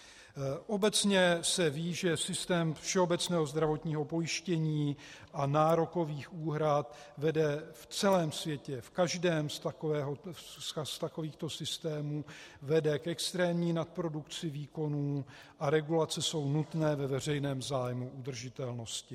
Obecně se ví, že systém všeobecného zdravotního pojištění a nárokových úhrad vede v celém světě, v každém z takovýchto systémů, vede k extrémní nadprodukci výkonů a regulace jsou nutné ve veřejném zájmu udržitelnosti.